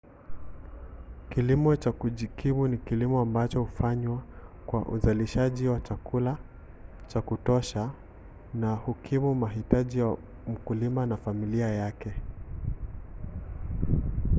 kilimo cha kujikimu ni kilimo ambacho hufanywa kwa uzalishaji wa chakula cha kutosha tu kukimu mahitaji ya mkulima na familia yake